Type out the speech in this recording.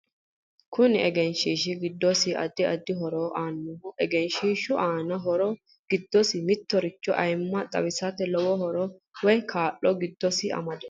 Kunu egenshiishi giddosi addi addi horo aanoho egenshiishu aano horo giddo mittoricho ayiimma xawisate lowo horo woy kaa'lo giddosi amadino